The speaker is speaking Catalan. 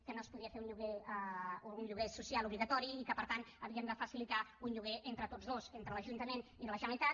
que no es podia fer un lloguer social obligatori i que per tant havien de facilitar un lloguer entre tots dos entre l’ajuntament i la generalitat